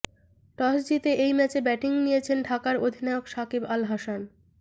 টসে জিতে এই ম্যাচে ব্যাটিং নিয়েছেন ঢাকার অধিনায়ক সাকিব আল হাসান